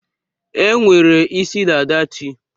E nwere isi dada chi.